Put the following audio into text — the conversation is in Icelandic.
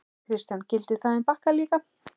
Kristján: Gildir það um Bakka líka?